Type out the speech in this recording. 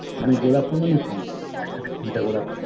মানে গোলাপ ফুল মানে কি? এক সাথে কুড়িটা গোলাপ ফুল